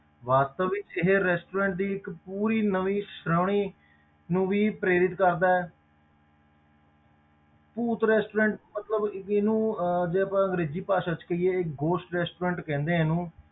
ਵਾਸਤਵਿਕ ਇਹ restaurant ਦੀ ਇੱਕ ਪੂਰੀ ਨਵੀਂ ਸ਼੍ਰੇਣੀ ਨੂੰ ਵੀ ਪ੍ਰੇਰਿਤ ਕਰਦਾ ਹੈ ਭੂਤ restaurant ਮਤਲਬ ਇਹਨੂੰ ਅਹ ਜੇ ਆਪਾਂ ਅੰਗਰੇਜ਼ੀ ਭਾਸ਼ਾ ਵਿੱਚ ਕਹੀਏ ghost restaurant ਕਹਿੰਦੇ ਆ ਇਹਨੂੰ